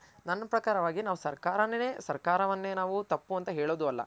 ನನ್ ಪ್ರಕಾರವಾಗಿ ಸರ್ಕಾರನೆನೆ ಸರ್ಕಾರವನ್ನೇ ನಾವು ತಪ್ಪು ಅಂತ ಹೇಳೋದು ಅಲ್ಲ.